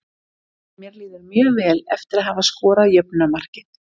Mér líður mjög vel eftir að hafa skorað jöfnunarmarkið.